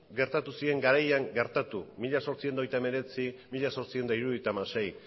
gertatu ziren garaian gertatu mila zortziehun eta hogeita hemeretzi mila zortziehun eta hirurogeita hamasei